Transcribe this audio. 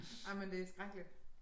Ej men det skrækkeligt